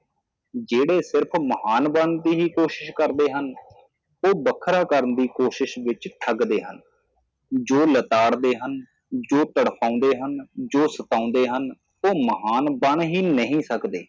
ਜਿਹੜੇ ਸਿਰਫ਼ ਮਹਾਨ ਬਨਣ ਦੀ ਹੀ ਕੋਸ਼ਿਸ਼ ਕਰਦੇ ਹਨ ਉਹ ਬਖਰਾ ਕਰਣ ਦੀ ਕੋਸ਼ਿਸ਼ ਵਿਚ ਠੱਗਦੇ ਹਨ ਜੋ ਲਤਾੜਦੇ ਹਨ ਜੋ ਤੜਫ਼ਆਂਦੇ ਹਨ ਜੋ ਸਤਾਉਂਦੇ ਹਨ ਉਹ ਮਹਾਨ ਬਣ ਹੀ ਨਹੀ ਸਕਦੇ